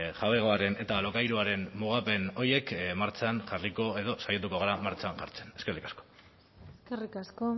jabegoaren eta alokairuaren mugapen horiek martxan jarriko edo saiatuko gara martxan jartzen eskerrik asko eskerrik asko